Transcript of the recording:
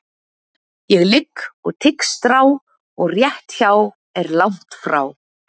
Ég ligg og tygg strá og rétt hjá er langt frá.